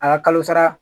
A ka kalo sara